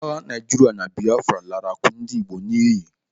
Agha Naijiria na Biafra lara akụ ndị Igbo n'iyi.